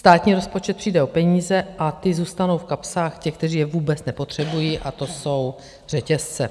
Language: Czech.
Státní rozpočet přijde o peníze a ty zůstanou v kapsách těch, kteří je vůbec nepotřebují, a to jsou řetězce.